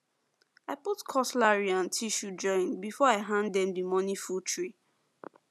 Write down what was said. i put cutlery and tissue join before i hand them the morning food tray